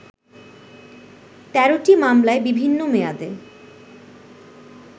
১৩টি মামলায় বিভিন্ন মেয়াদে